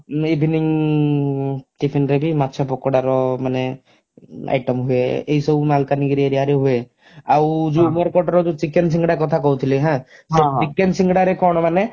evening tiffin ରେ ବି ମାଛ ପକୋଡାର ମାନେ item ହୁଏ ଏ ସବୁ ମାଲକାନଗିରି area ରେ ହୁଏ ଆଉ ଯଉ ଉମେରକୋଟ ର ଯଉ chicken ସିଙ୍ଗଡା କଥା କହୁଥିଲି ହାଁ ସେଇ chicken ସିଙ୍ଗଡା ରେ କଣ ମାନେ